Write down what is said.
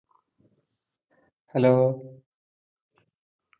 hello